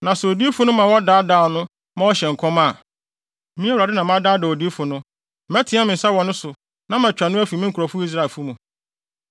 “ ‘Na sɛ odiyifo no ma wɔdaadaa no ma ɔhyɛ nkɔm a, me Awurade na madaadaa odiyifo no, mɛteɛ me nsa wɔ ne so na matwa no afi me nkurɔfo Israelfo mu.